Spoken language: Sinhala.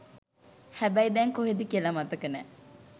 හැබැයි දැන් කොහේද කියලා මතක නෑ